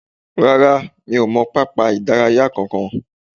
Rárá, mi ò mọ pápá ìdárayá kankan